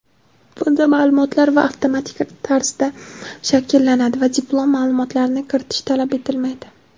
Bunda ma’lumotlar avtomatik tarzda shakllanadi va diplom ma’lumotlarini kiritish talab etilmaydi.